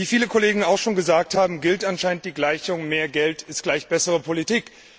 Wie viele Kollegen auch schon gesagt haben, gilt anscheinend die Gleichung Mehr Geld ist gleich bessere Politik.